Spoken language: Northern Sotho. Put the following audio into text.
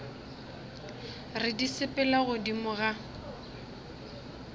re di sepela godimo ga